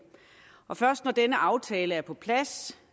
og først når denne aftale er på plads